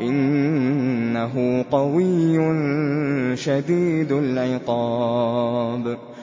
إِنَّهُ قَوِيٌّ شَدِيدُ الْعِقَابِ